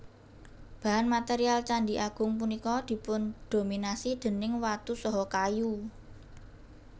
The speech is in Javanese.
Bahan material Candhi Agung punika dipundominasi déning watu saha kayu